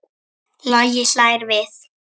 Logi hlær við.